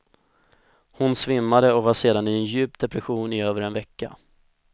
Hon svimmade och var sedan i en djup depression i över en vecka.